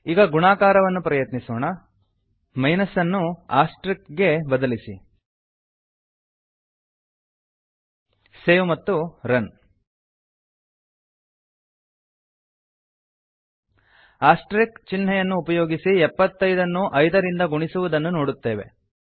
ಈಗ ಗುಣಾಕಾರವನ್ನು ಪ್ರಯತ್ನಿಸೋಣ ಮೈನಸ್ಅನ್ನು ಆಸ್ಟೆರಿಕ್ಗೆ ಬದಲಿಸಿ ಸೇವ್ ಮತ್ತು ರನ್ ಆಸ್ಟೆರಿಕ್ ಚಿಹ್ನೆಯನ್ನುಉಪಯೋಗಿಸಿ 75ಎಪ್ಪತ್ತೈದ ನ್ನು 5 ಐದ ರಿಂದ ಗುಣಿಸುವುದನ್ನು ನೋಡುತ್ತೇವೆ